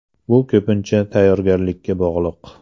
Bu ko‘pincha tayyorgarlikka bog‘liq.